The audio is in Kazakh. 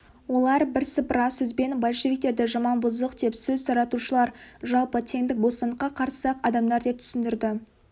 олар бірсыпыра сөзбен большевиктерді жаман бұзық деп сөз таратушылар жалпы теңдік бостандыққа қарсы адамдар деп түсіндірді